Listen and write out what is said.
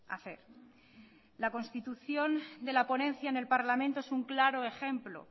hacer la constitución de la ponencia en el parlamento es un claro ejemplo